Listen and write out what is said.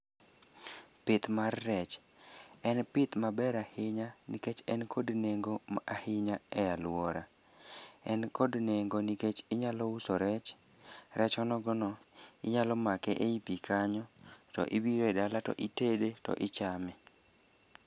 Pith mar rech, en pith maber ahinya nikech en kod nengo ahinya e alwora. En kod nengo nikech inyalo uso rech. Rech onogo no inyalo make ei pi kanyo to idhi go dala, to itede, to ichame.